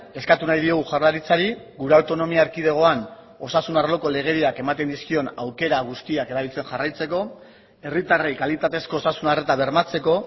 eskatu nahi diogu jaurlaritzari gure autonomia erkidegoan osasun arloko legediak ematen dizkion aukera guztiak erabiltzen jarraitzeko herritarrei kalitatezko osasun arreta bermatzeko